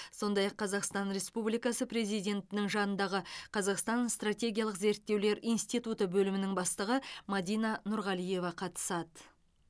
сондай ақ қазақстан республикасы президентінің жанындағы қазақстан стратегиялық зерттеулер институты бөлімінің бастығы мадина нұрғалиева қатысады